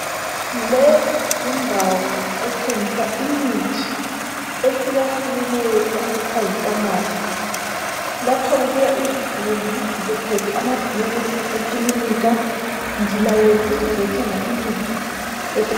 Leyi yindawo ethengisa imithi ehlukahlukeneyo okuthwa yifamasi. Lapha kubuya izigulane ziphethe amabhuku ekilinika zilayelwe ukuthi zizothenga imithi efunekayo.